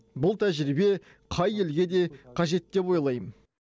бұл тәжірибе қай елге де қажет деп ойлаймын